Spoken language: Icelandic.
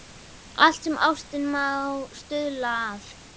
Allt sem ástin má stuðla að.